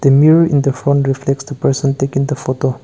the mirror in the front reflects the person taking the photo